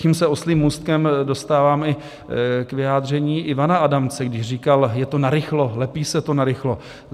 Tím se oslím můstkem dostávám i k vyjádření Ivana Adamce, když říkal: Je to narychlo, lepí se to narychlo.